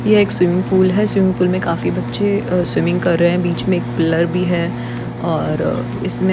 यह एक swimming pool है। स्विमिंग पूल मे काफी बच्चे स्विमिंग कर रहे है। बीच मे एक पिलर भी है। और इसमे --